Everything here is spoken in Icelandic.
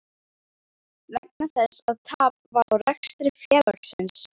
vegna þess að tap varð á rekstri félagsins.